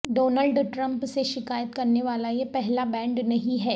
Donald Trump سے شکایت کرنے والا یہ پہلا بینڈ نہیں ہے